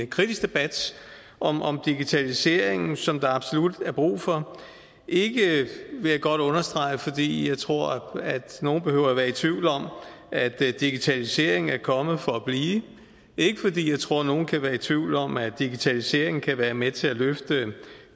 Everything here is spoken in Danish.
kritisk debat om om digitaliseringen som der absolut er brug for ikke vil jeg godt understrege fordi jeg tror at nogen behøver være i tvivl om at digitaliseringen er kommet for blive ikke fordi jeg tror nogen kan være i tvivl om at digitaliseringen kan være med til at løfte